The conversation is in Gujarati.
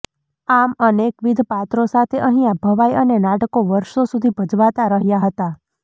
આમ અનેકવિધ પાત્રો સાથે અહિયા ભવાઈ અને નાટકો વર્ષો સુધી ભજવાતા રહ્યા હતા